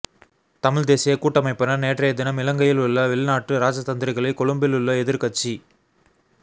தமிழ்த் தேசியக் கூட்டமைப்பினர் நேற்றையதினம் இலங்கையிலுள்ள வெளிநாட்டு இராஜதந்திரிகளை கொழும்பிலுள்ள எதிர்க்கட்சி